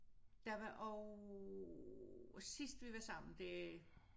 Der var også sidst vi var sammen det